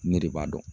Ne de b'a dɔn